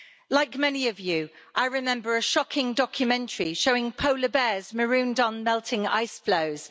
Like many of you, I remember a shocking documentary showing polar bears marooned on melting ice flows.